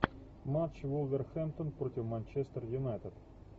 матч вулверхэмптон против манчестер юнайтед